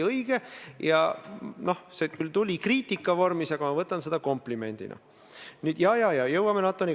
Mina ei ole selle kriitika pärast üldse pahane ja arvan, et kriitika, konstruktiivne kriitika, ongi mõistlik.